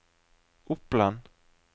Oppland